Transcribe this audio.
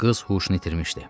Qız huşunu itirmişdi.